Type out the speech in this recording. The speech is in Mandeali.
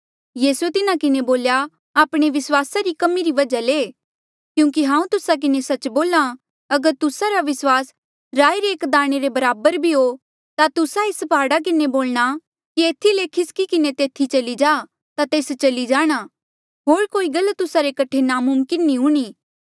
यीसूए तिन्हा किन्हें बोल्या आपणे विस्वासा री कमी री वजहा ले क्यूंकि हांऊँ तुस्सा किन्हें सच्च बोल्हा अगर तुस्सा रा विस्वास राई रे एक दाणे रे बराबर भी हो ता तुस्सा एस प्हाड़ा किन्हें बोलणा कि एथी ले खिसकी किन्हें तेथी चली जा ता तेस चली जाणा होर कोई गल तुस्सा रे कठे नामुमकिन नी हूणीं